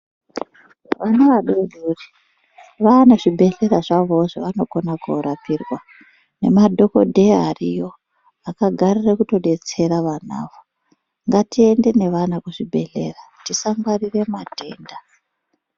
Vana vadodori vaane zvibhedhlera zvavowo zvavanokona korapirwa nemadhokodheya ariyo akagarira kutodetsera vana vo. Ngatiende nevana kuzvibhedhera tisangwarira matenda.